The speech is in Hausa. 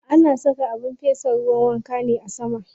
Ana saka abin fesa ruwan wanka ne a sama.